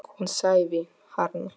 Hún sefaði harma.